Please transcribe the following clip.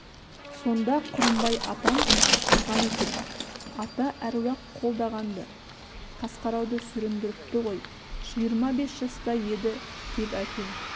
сонда құрымбай атам шыққан екен ата-әруақ қолдаған-ды қасқарауды сүріндіріпті ғой жиырма бес жаста еді деп әкем